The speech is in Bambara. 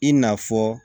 I n'a fɔ